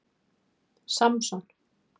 Samson